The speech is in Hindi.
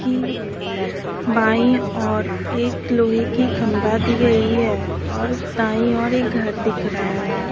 की बाईं ओर एक लोहे की खंबा दी गई है और दाईं ओर एक घर दिख रहा है।